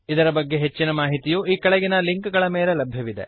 ಇದರ ಬಗ್ಗೆ ಹೆಚ್ಚಿನ ಮಾಹಿತಿಯು ಈ ಕೆಳಗಿನ ಲಿಂಕ್ ಗಳ ಮೇಲೆ ಲಭ್ಯವಿದೆ